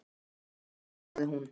Ég fer þá ein sagði hún.